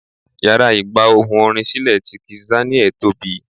Yàrá ìgba ohùn orin sílè ti kizz Daniel tóbi.